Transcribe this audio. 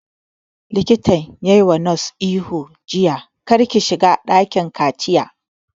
Likatan ya wa nurse ihu jiya 'Kar ki shiga dakin kaciya'